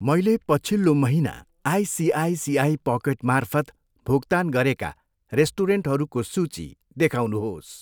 मैले पछिल्लो महिना आइसिआइसिआई पकेटमार्फत भुक्तान गरेका रेस्टुरेन्टहरूको सूची देखाउनुहोस्।